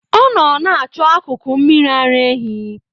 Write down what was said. Ọ nọ na-achọ akụkụ mmiri ara ehi.